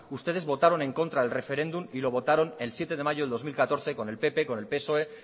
ustedes votaron en contra del referéndum y lo votaron el zazpide mayo de dos mil catorce con el pp con el psoe